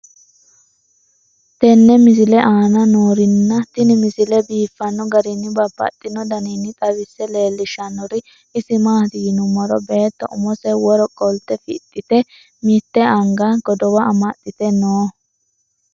tenne misile aana noorina tini misile biiffanno garinni babaxxinno daniinni xawisse leelishanori isi maati yinummoro beetto ummose woro qolitte fixxitte mitte angani godowa amaxxitte noo